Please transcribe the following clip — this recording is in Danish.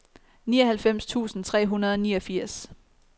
nioghalvfems tusind tre hundrede og niogfirs